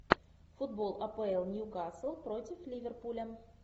футбол апл ньюкасл против ливерпуля